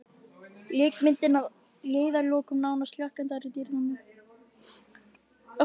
Leikmyndin að leiðarlokum nánast hlakkandi í dýrðinni.